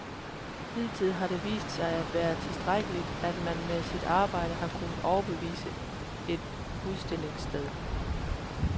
Hidtil har det vist sig at være tilstrækkeligt, at man med sit arbejde har kunnet overbevise et udstillingssted.